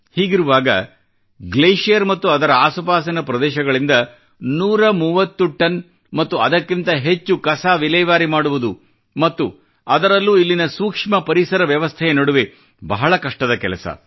ಹೀಗಿರುವಾಗ ಗ್ಲೇಷಿಯರ್ ಮತ್ತು ಅದರ ಆಸುಪಾಸಿನ ಪ್ರದೇಶಗಳಿಂದ 130 ಟನ್ ಮತ್ತು ಅದಕ್ಕಿಂತ ಹೆಚ್ಚು ಕಸ ವಿಲೇವಾರಿ ಮಾಡುವುದು ಮತ್ತು ಅದರಲ್ಲೂ ಇಲ್ಲಿನ ಸೂಕ್ಷ್ಮ ಪರಿಸರ ವ್ಯವಸ್ಥೆಯ ನಡುವೆ ಬಹಳ ಕಷ್ಟದ ಕೆಲಸ